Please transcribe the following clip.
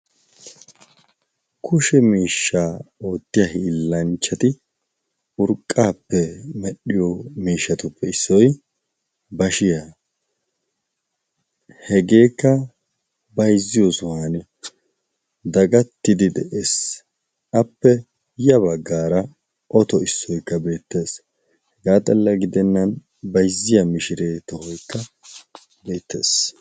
kushe miishshaa oottiya hiillanchchati urqqaappe medhdhiyo miishatuppe issoi bashiya hegeekka baizziyo suhan dagattidi de7ees appe ya baggaara oto issoikka beettees hegaa xalla gidennan baizziya mishiree tohoikka beettees